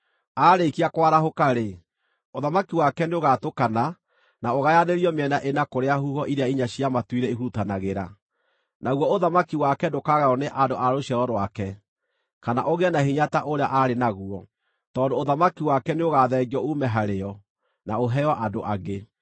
Aarĩkia kwarahũka-rĩ, ũthamaki wake nĩũgatũkana na ũgayanĩrio mĩena ĩna kũrĩa huho iria inya cia matu-inĩ ihurutanagĩra. Naguo ũthamaki wake ndũkagaywo nĩ andũ a rũciaro rwake, kana ũgĩe na hinya ta ũrĩa aarĩ naguo, tondũ ũthamaki wake nĩũgathengio uume harĩo na ũheo andũ angĩ.